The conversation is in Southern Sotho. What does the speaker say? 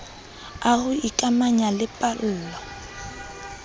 a ho ikamanya le pallo